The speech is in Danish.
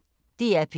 DR P1